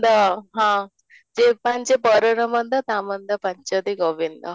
ତ ହଁ ଯେ ପାଞ୍ଚେ ପରର ମନ୍ଦ ତା ମନ୍ଦ ପଞ୍ଚନ୍ତି ଗୋବିନ୍ଦ